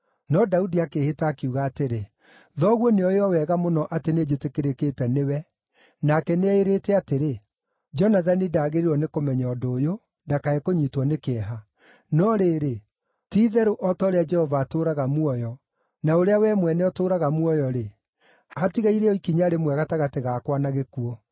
No Daudi akĩĩhĩta akiuga atĩrĩ, “Thoguo nĩoĩ o wega mũno atĩ nĩnjĩtĩkĩrĩkĩte nĩwe, nake nĩeĩrĩte atĩrĩ, ‘Jonathani ndagĩrĩirwo nĩ kũmenya ũndũ ũyũ, ndakae kũnyiitwo nĩ kĩeha.’ No rĩrĩ, ti-itherũ o ta ũrĩa Jehova atũũraga muoyo, na ũrĩa wee mwene ũtũũraga muoyo-rĩ, hatigaire o ikinya rĩmwe gatagatĩ gakwa na gĩkuũ.”